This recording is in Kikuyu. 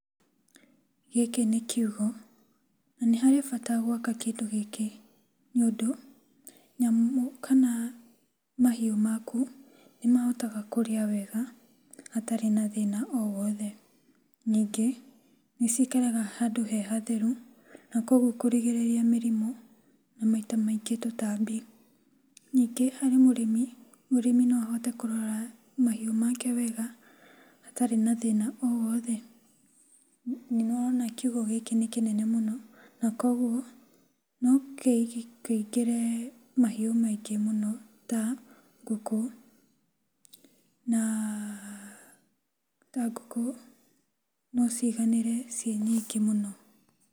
Gĩkĩ nĩ kiugũ, na nĩ harĩ bata gwaka kĩndũ gĩkĩ nĩũndũ nyamũ kana mahiũ maku nĩmahotaga kũrĩa wega hatarĩ na thĩna o wothe. Ningĩ, nĩcikaraga handũ he hatheru na kuoguo kũrigĩrĩria mĩrimũ na maita maingĩ tũtambi. Ningĩ harĩ mũrĩmi, mũrĩmi no ahote kũrora mahiũ make wega atarĩ na thĩna o wothe. Nĩwona kiugũ gĩkĩ nĩ kĩnene mũno na kuoguo no kĩingĩre mahiũ maingĩ mũno ta ngũkũ na ta ngũkũ no ciganĩre ciĩ nyingĩ mũno.